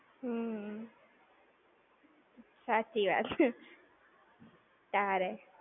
હમ્મ. સાચી વાત. તારે!